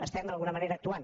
estem d’alguna manera actuant